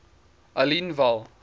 aliwal